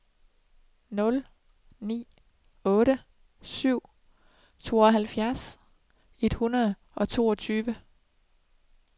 nul ni otte syv tooghalvfjerds et hundrede og toogtyve